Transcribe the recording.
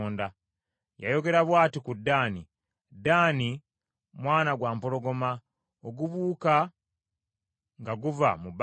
Yayogera bw’ati ku Ddaani: “Ddaani mwana gwa mpologoma, ogubuuka nga guva mu Basani.”